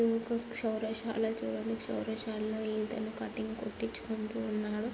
క్షవరశాల చూడండి క్షవరశాలలో ఇతను కటింగ్ కొట్టిచ్చుకుంటూ ఉన్నాడు.